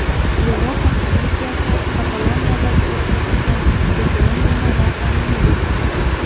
Yevropa komissiyasi Kataloniyada o‘tkazilgan referendumni noqonuniy deb atadi.